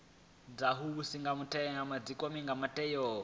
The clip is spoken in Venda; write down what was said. vhavhusi na dzikomiti dzo teaho